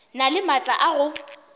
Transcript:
na le maatla a go